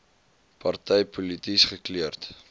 party polities gekleurd